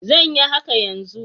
Zan yi haka yanzu.